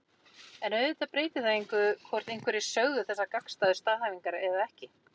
en auðvitað breytir það engu hvort einhverjir sögðu þessar gagnstæðu staðhæfingar eða ekki